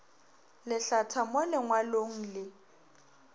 le hlatha mo lengwalong le